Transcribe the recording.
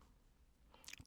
DR2